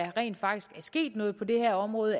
at der rent faktisk er sket noget på det her område